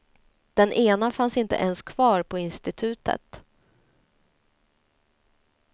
Den ena fanns inte ens kvar på institutet.